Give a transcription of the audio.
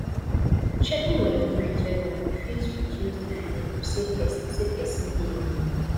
checking on your friends regularly fit reduce the feeling of say persin say persin de alone